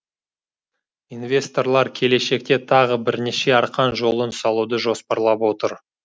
инвесторлар келешекте тағы бірнеше арқан жолын салуды жоспарлап отыр